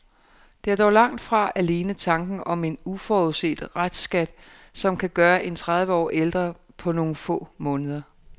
Det er dog langt fra alene tanken om en uforudset restskat, som kan gøre en tredive år ældre på nogle få måneder.